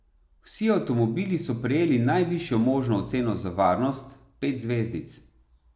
Vsi avtomobili so prejeli najvišjo možno oceno za varnost, pet zvezdic.